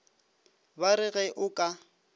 ba re ge o ka